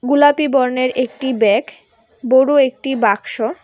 গুলাপি বর্ণের একটি ব্যাগ বড় একটি বাক্স--